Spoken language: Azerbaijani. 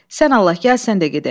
Sən Allah gəl, sən də gedək.